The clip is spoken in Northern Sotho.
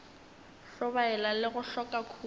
hlobaela le go hloka khutšo